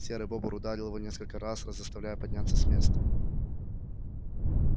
серый бобр ударил его несколько раз заставляя подняться с места